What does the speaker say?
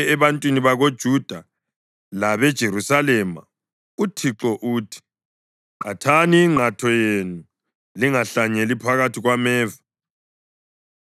Ebantwini bakoJuda labeJerusalema uThixo uthi: “Qhathani ingqatho yenu, lingahlanyeli phakathi kwameva.